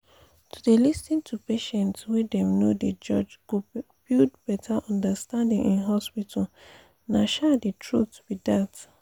to dey lis ten to patients wey dem no dey judge go build better understanding in hospitals nah um the truth be dat.